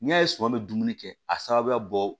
N'i y'a ye suman bɛ dumuni kɛ a sababuya bɔ